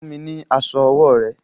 Fún mi ní aṣọ ọwọ́ rẹ!